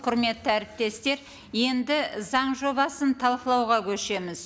құрметті әріптестер енді заң жобасын талқылауға көшеміз